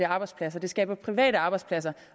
arbejdspladser det skaber private arbejdspladser